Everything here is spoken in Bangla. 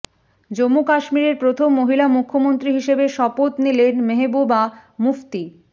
জম্মু কাশ্মীরের প্রথম মহিলা মুখ্যমন্ত্রী হিসাবে শপথ নিলেন মেহবুবা মুফতি